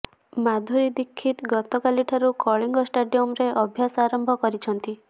ମାଧୁରୀ ଦୀକ୍ଷିତ ଗତକାଲିଠାରୁ କଳିଙ୍ଗ ଷ୍ଟାଡିୟମରେ ଅଭ୍ୟାସ ଆରମ୍ଭ କରିଛନ୍ତି